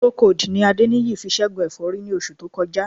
Procold ni Adéníyì fi ṣẹ́gun ẹ̀fọ́rí ní oṣù tó kọjá